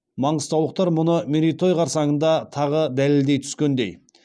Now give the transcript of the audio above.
маңғыстаулықтар мұны мерейтой қарсаңында тағы дәлелдей түскендей